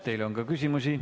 Teile on küsimusi.